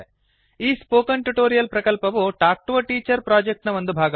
ಈ spoken tutorial ಪ್ರಕಲ್ಪವು talk to a teacher project ನ ಒಂದು ಭಾಗ